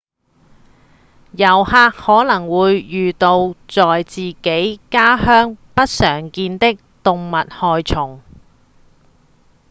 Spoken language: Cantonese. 遊客可能會遇到在自己的家鄉不常見的動物害蟲